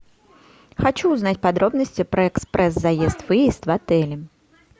хочу узнать подробности про экспресс заезд выезд в отеле